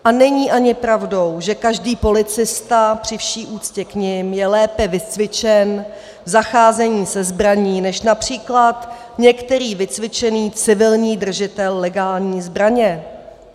A není ani pravdou, že každý policista, při vší úctě k nim, je lépe vycvičen v zacházení se zbraní než například některý vycvičený civilní držitel legální zbraně.